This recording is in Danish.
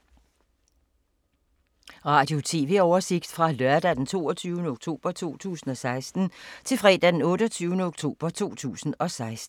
Radio/TV oversigt fra lørdag d. 22. oktober 2016 til fredag d. 28. oktober 2016